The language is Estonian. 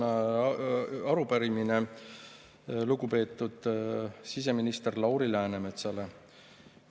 Mul on arupärimine lugupeetud siseministrile Lauri Läänemetsale.